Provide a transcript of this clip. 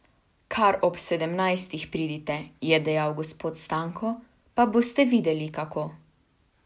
Kar ob sedemnajstih pridite, je dejal gospod Stanko, pa boste videli kako!